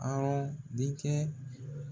Awɔ denkɛ